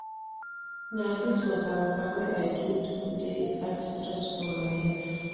Na dis waka-waka wey I dey do dey add stress for my life.